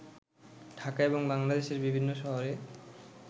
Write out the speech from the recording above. ঢাকা এবং বাংলাদেশের বিভিন্ন শহরে